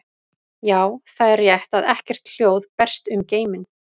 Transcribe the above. Já, það er rétt að ekkert hljóð berst um geiminn.